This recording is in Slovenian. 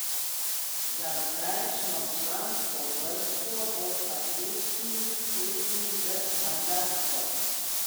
Za zdajšnjo člansko vrsto bosta ključni tekmi z Madžarsko.